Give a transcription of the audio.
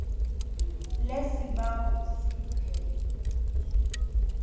le sibawa usiphe